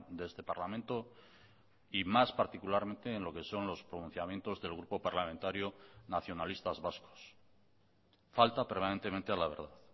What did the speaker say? de este parlamento y más particularmente en lo que son los pronunciamientos del grupo parlamentario nacionalistas vascos falta permanentemente a la verdad